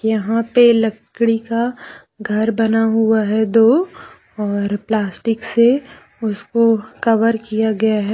यहाँ पे लकड़ी का घर बना हुआ है दो और प्लास्टिक से उसको कवर किया गया है।